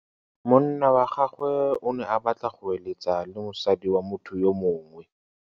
Monna wa gagwe o ne a batla go êlêtsa le mosadi wa motho yo mongwe.